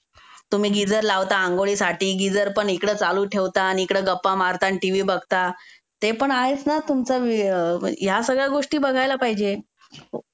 तुम्ही गिझर लावता आंघोळीसाठी. गिझर पण इकड चालू ठेवता आण इकड गप्पा मारता आण टीव्ही बघता.